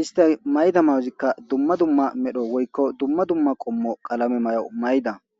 ista mayda mauzikka dumma dumma medho woykko dumma dumma qommo qalame may7o mayda